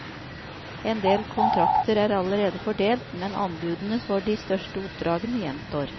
En del kontrakter er allerede fordelt, men anbudene for de største oppdragene gjenstår.